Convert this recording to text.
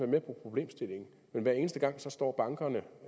med på problemstillingen men hver eneste gang står bankerne